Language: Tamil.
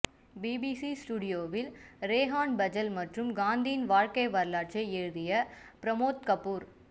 பிபிசி ஸ்டுடியோவில் ரெஹான் ஃபஜல் மற்றும் காந்தியின் வாழ்க்கை வரலாற்றை எழுதிய பிரமோத் கபூர்